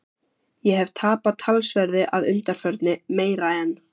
Ég hef tapað talsverðu að undanförnu- meira en